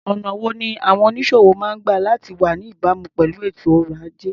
Ọ̀nà wo ni àwọn onísòwò máa ń gba láti wá ní ìbámu pẹ̀lú ètò ọrọ̀-ajé?